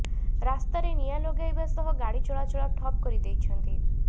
ରାସ୍ତାରେ ନିଆଁ ଲଗାଇବା ସହ ଗାଡ଼ି ଚଳାଚଳ ଠପ୍ କରିଦେଇଛନ୍ତି